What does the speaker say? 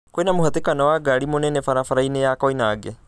kwĩna mũhatĩkano wa ngari mũnene barabara-inĩya Koinange